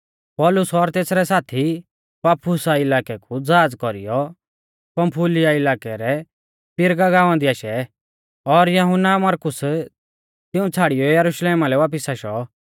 पौलुस ओर तेसरै साथी पाफुसा इलाकै कु ज़हाज़ कौरीऐ पंफूलिया इलाकै रै पिरगा गाँवा दी आशै और यहुन्ना मरकुस तिऊं छ़ाड़ियौ यरुशलेमा लै वापिस आशौ